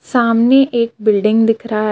सामने एक बिल्डिंग दिख रा है.